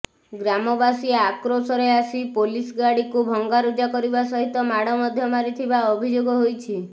ଗ୍ରାମବାସୀ ଆକ୍ରୋସରେ ଆସି ପୋଲିସ୍ ଗାଡିକୁ ଭଙ୍ଗାରୁଜା କରିବା ସହିତ ମାଡ ମଧ୍ୟ ମାରିଥିବା ଅଭିଯୋଗ ହୋଇଛି